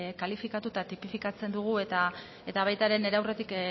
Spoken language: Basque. kalifikatu eta tipifikatzen dugu eta baita ere nire aurretik